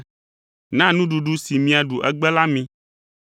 Na nuɖuɖu si míaɖu egbe la mi.